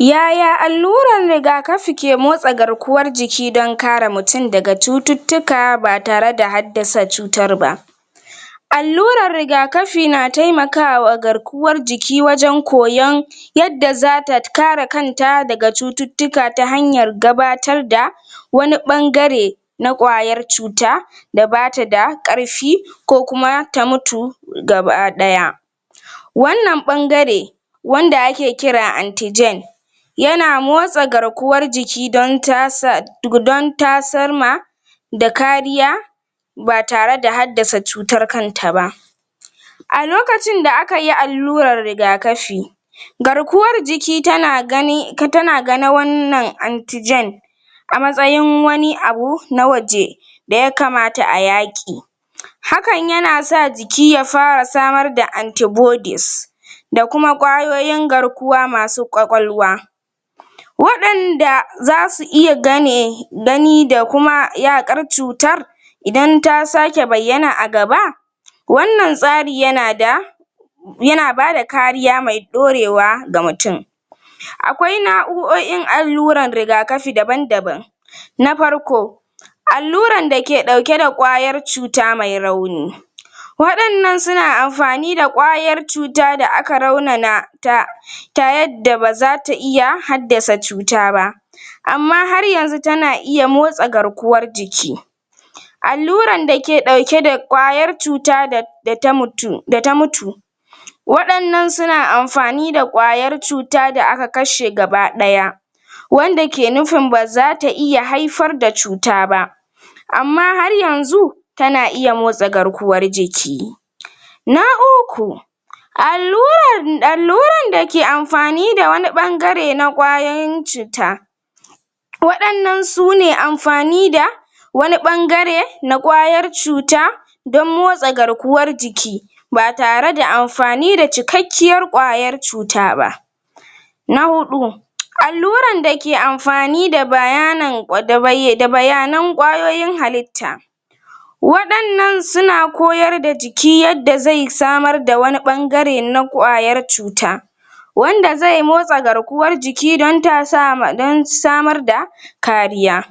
Yaya allurar rigakafi ke motsa garkuwar jiki don kare mutum daga cututtuka ba tare da haddasa cutar ba allurar rigakafi na taimaka wa garkuwar jiki wajen koyan yadda zata kare kanta daga cututtuka ta hanyar gabatar da wani ɓangare na ƙwayar cuta da bata da ƙarfi ko kuma ta mutu gaba ɗaya wannan ɓangare wanda ake kira yana motsa garkuwar jiki don tasar ma da kariya ba tare da haddasa cutar kanta ba a lokacin da aka yi allurar rigakafi garkuwar jiki tana ganin wannan a matsayin wani abu na waje da ya kamata a yaƙi hakan yana sa jiki ya fara samar da da kuma ƙwayoyin garkuwa masu ƙwaƙwalwa waɗanda zasu iya gani da kuma yaƙar cutar idan ta sake bayyana a gaba wannan tsari yana da yana bada kariya mai ɗorewa ga mutum akwai na'u'o'in alluran rigakafi daban daban na farko alluran da ke ɗauke da ƙwayar cuta mai rauni waɗannan suna amfani da ƙwayar cuta da aka raunana ta ta yadda baza ta iya haddasa cuta ba amma har yanzu tana iya motsa garkuwar jiki alluran dake ɗauke da ƙwayar cuta da ta mutu da ta mutu wadannan suna amfani da ƙwayar cuta da aka kashe gaba ɗaya wanda ke nufin baza ta iya haifar da cuta ba amma har yanzu tana iyya motsa garkuwar jiki na uku allurar alluran da ke amfani da wani ɓangare na ƙwayan cuta waɗannan sune amfani da wani ɓangare na ƙwayar cuta don motsa garkuwar jiki ba tare da amfani da cikakkiyar ƙwayar cuta ba na huɗu alluran da ke amfani da bayanin da bayanan ƙwayoyin halitta waɗannan suna koyar da jiki yadda zai samar da wani ɓangare na ƙwayar cuta wanda zai motsa garkuwar jiki don ta samar da kariya4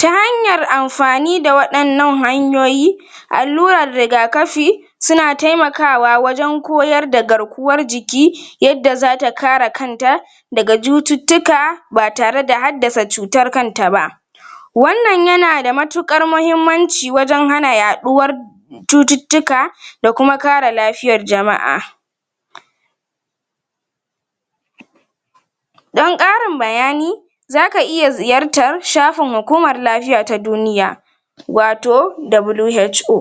ta hanyan amfani da waɗannan hanyoyi allurar rigakafi suna taimakawa wajen koyar da garkuwar jiki yadda zata kare kanta daga jututuuka ba tare da haddasa cutar kanta ba wannan yana da matuƙar mahimmanci wajen hana yaɗuwar cututtuka da kuma kare lafiyar jama'a don ƙarin bayani zaka iya ziyartar shafin hukumar lafiya ta duniya wato WHO.